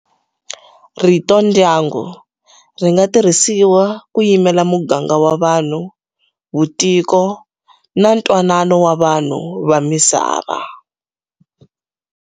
Rito, ndyangu, ringa tirhisiwa kuyimela muganga wa vanhu, vutiko, na ntwanano wa vanhu va misava.